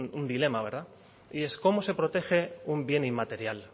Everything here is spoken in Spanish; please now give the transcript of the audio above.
un dilema verdad y es cómo se protege un bien inmaterial